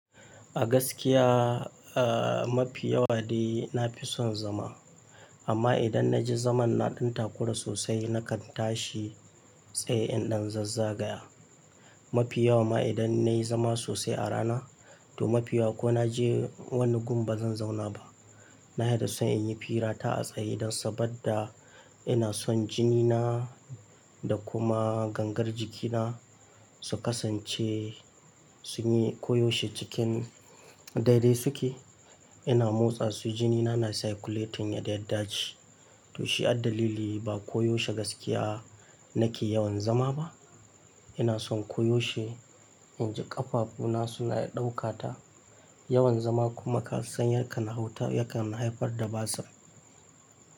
A gaskiya, a mafi yawa dai na fi son zuma. Amma idan na ji zaman na ɗan takura sosai, na kan tashi tsaye in ɗan zazzagaya. Mafi yawa ma idan na yi zama sosai a rana to mafi yawa ko na je wani gun ba zan zauna ba. Nafi son in yi firata a tsaye don saboda ina son jini na da kuma gangar jiki na su kasance sun yi koyaushe cikin dai dai suke. Ina motsa su jini na na circulating ya yardace. To shi addalili ba koyaushe gaskiya nake yawan zama ba. Ina son koyaushe in ji ƙafafu na suna ɗaukata. Yawan zama kuma kasan ya kan hauta ya kan haifar da basir.